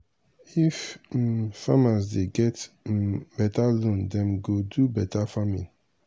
if um farmers dey get um beta loan dem go do beta farming.